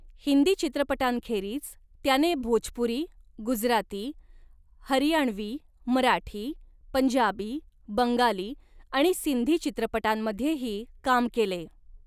हिंदी चित्रपटांखेरीज त्याने भोजपुरी, गुजराती, हरियाणवी, मराठी, पंजाबी, बंगाली आणि सिंधी चित्रपटांमध्येही काम केले.